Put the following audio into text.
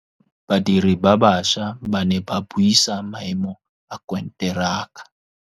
Badiri ba baša ba ne ba buisa maêmô a konteraka.